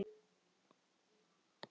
Svo þegjum við.